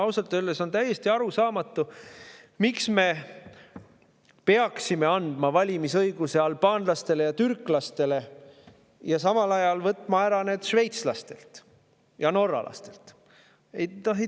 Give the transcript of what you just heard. Ausalt öeldes on täiesti arusaamatu, miks me peaksime andma valimisõiguse albaanlastele ja türklastele ja samal ajal selle ära võtma šveitslastelt ja norralastelt.